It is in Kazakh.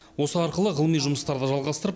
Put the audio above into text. осы арқылы ғылыми жұмыстарды жалғастырып